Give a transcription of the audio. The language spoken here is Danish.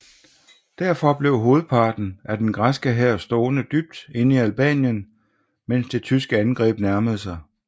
Derfor blev hovedparten af den græske hær stående dybt inde i Albanien mens det tyske angreb nærmede sig